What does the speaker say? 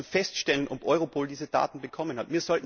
Wir müssen feststellen, ob Europol diese Daten bekommen hat.